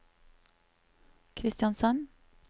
Kristiansand